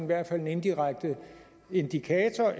hvert fald en indirekte indikator